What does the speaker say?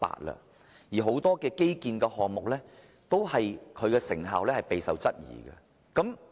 然而，很多基建項目的成效均備受質疑。